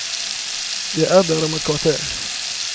Jeg er der om et kvarter.